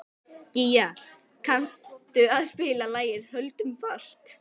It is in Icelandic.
Gía, kanntu að spila lagið „Höldum fast“?